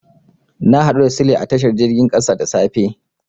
Na haɗu da Sule a tashar jirgin ƙasa da safe.